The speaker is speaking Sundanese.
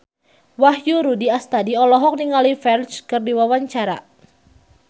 Wahyu Rudi Astadi olohok ningali Ferdge keur diwawancara